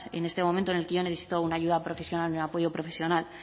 en este momento en el que yo he necesitado una ayuda profesional un apoyo profesional